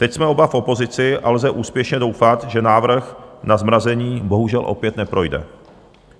Teď jsme oba v opozici a lze úspěšně doufat, že návrh na zmrazení bohužel opět neprojde.